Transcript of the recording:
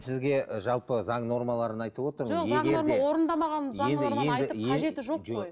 сізге жалпы заң нормаларын айтып отырмын